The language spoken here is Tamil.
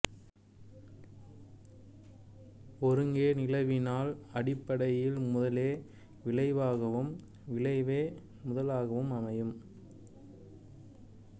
ஒருங்கே நிலவினால் அடிப்படையில் முதலே விளைவாகவும் விளைவே முதலாகவும் அமையும்